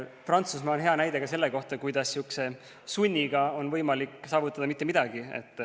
Prantsusmaa on hea näide ka selle kohta, kuidas sihukese sunniga on võimalik saavutada see, et ei saavutata mitte midagi.